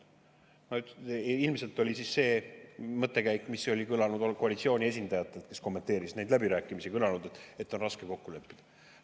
Ilmselt oli see mõttekäik, mis oli kõlanud koalitsiooni esindajatelt, kes neid läbirääkimisi kommenteerisid, et on raske kokku leppida.